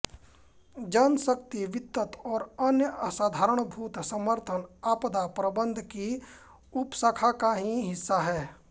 जनशक्ति वित्त और अन्य आधारभूत समर्थन आपदा प्रबंधन की उपशाखा का ही हिस्सा हैं